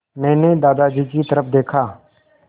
मैंने दादाजी की तरफ़ देखा